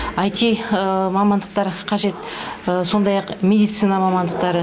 ай ти мамандықтар қажет сондай ақ медицина мамандықтары